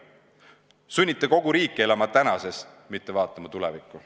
Te sunnite kogu riiki elama tänases, mitte vaatama tulevikku.